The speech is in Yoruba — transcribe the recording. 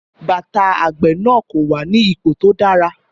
Bàtà àgbẹ̀ náà kò wà ní ipò tó dára.